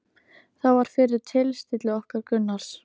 Það var fyrir tilstilli okkar Gunnars